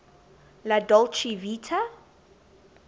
la dolce vita